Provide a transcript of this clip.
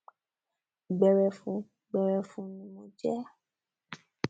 gbẹrẹfụ gbẹrẹfụ ni mo jẹ ẹ